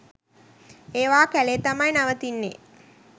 ඒවා කැලේ තමයි නවතින්නෙ.